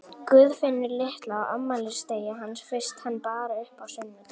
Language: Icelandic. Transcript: Guðfinnu litlu á afmælisdegi hans fyrst hann bar upp á sunnudag.